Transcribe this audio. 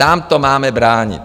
Tam to máme bránit.